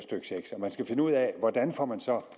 man skal finde ud af hvordan får man så